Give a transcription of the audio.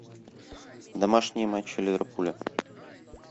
домашние матчи ливерпуля